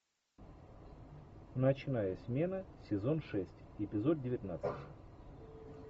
ночная смена сезон шесть эпизод девятнадцать